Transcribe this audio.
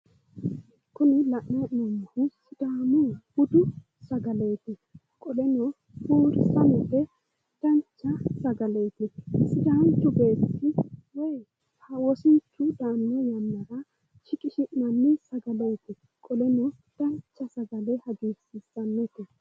kuni la'nanni hee'noommohu sidaamu budu sagaleeti sagaleno buurisamete dancha sagaleeti sidaanchu beetti woyi wosinchu daanno yannara shiqishi'nanni sagaleeti qoleno dancha sagale hagiirsiissannote.